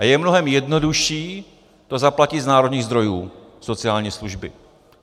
A je mnohem jednodušší to zaplatit z národních zdrojů, sociální služby.